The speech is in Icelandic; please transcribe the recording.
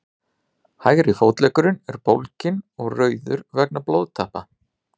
hægri fótleggurinn er bólginn og rauður vegna blóðtappa